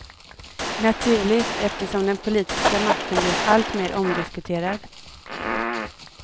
Naturligt, eftersom den politiska makten blivit alltmer omdiskuterad.